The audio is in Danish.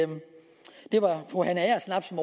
var fru hanne agersnap som